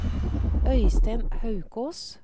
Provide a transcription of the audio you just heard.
Øystein Haukås